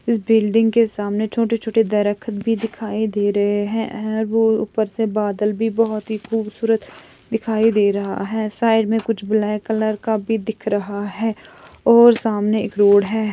इस बुल्ल्डिंग के सामने छोटे-छोटे भी दिखाई दे रहे है और ऊपर से बदल भी बहुत ही खुबसूरत दिखाई दे रहा है सायद ब्लैक कलर का भी दिख रहा है और सामने एक रोड है|